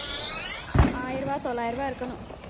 ஆயிரம் ரூபாய் தொள்ளாயிரம் ரூபாய் இருக்கணும்